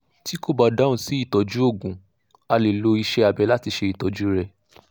tí kò bá dáhùn sí ìtọ́jú òògùn a lè lo ìṣe abẹ láti ṣe ìtọ́jú rẹ̀